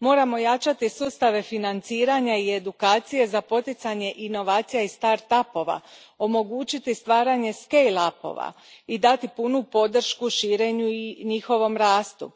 Moramo jačati sustave financiranja i edukacije za poticanje inovacija i start upova, omogućiti stvaranje scale upova i dati punu podršku širenju i njihovom rastu,